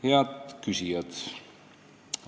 Head küsijad!